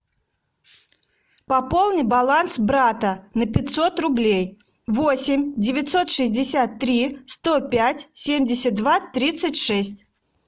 пополни баланс брата на пятьсот рублей восемь девятьсот шестьдесят три сто пять семьдесят два тридцать шесть